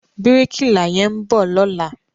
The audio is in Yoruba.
Bíríkìlà yẹn ń bọ̀ lọ́la.